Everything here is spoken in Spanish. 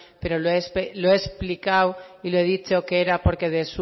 pero lo he explicado y lo he dicho que era porque